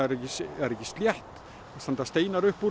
er ekki slétt það standa steinar upp úr